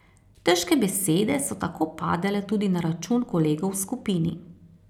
Težke besede so tako padale tudi na račun kolegov v skupini.